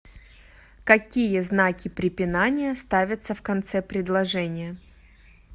какие знаки препинания ставятся в конце предложения